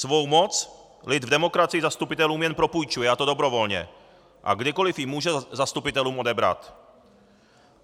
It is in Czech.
Svou moc lid v demokracii zastupitelům jen propůjčuje, a to dobrovolně, a kdykoliv ji může zastupitelům odebrat.